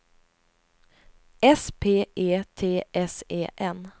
S P E T S E N